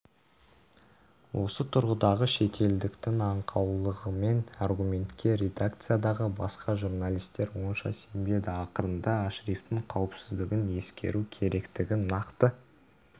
осы тұрғыдағы шетелдіктің аңқаулығыдеген аргументке редакциядағы басқа журналистер онша сенбеді ақырында ашрифтің қауіпсіздігін ескеру керектігі нақты